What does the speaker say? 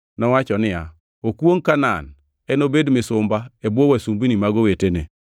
nowacho niya, “Okwongʼ Kanaan! Enobed misumba, e bwo wasumbini mag owetene.”